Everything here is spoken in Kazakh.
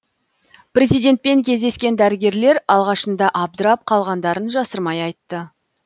президентпен кездескен дәрігерлер алғашында абдырап қалғандарын жасырмай айтты